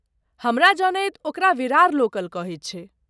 हमरा जनैत ओकरा विरार लोकल कहैत छैक।